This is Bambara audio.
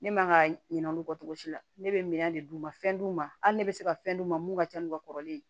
Ne man ka ɲina olu kɔ togo si la ne bɛ minɛn de d'u ma fɛn d'u ma hali ne bɛ se ka fɛn d'u ma mun ka ca n ka kɔrɔlen